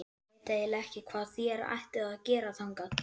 Ég veit eiginlega ekki hvað þér ættuð að gera þangað.